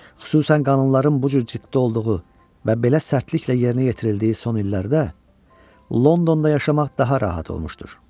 Xüsusən qanunların bu cür ciddi olduğu və belə sərtliklə yerinə yetirildiyi son illərdə Londonda yaşamaq daha rahat olmuşdur.